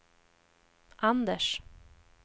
Anders